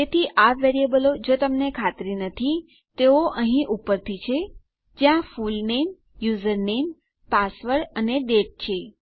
તેથી આ વેરીએબલો જો તમને ખાતરી નથી તેઓ અહીં ઉપરથી છે જ્યાં ફૂલનેમ યુઝરનેમ પાસવર્ડ અને ડેટ છે